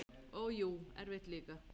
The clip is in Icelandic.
Og jú, erfitt líka.